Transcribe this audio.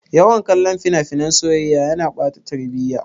Yawan kallon fina-finan soyayya yana ɓata tarbiya.